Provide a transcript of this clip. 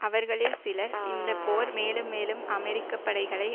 அவர்களில் சிலர் இந்த போர் மேலும் மேலும் அமெரிக்க படைகளை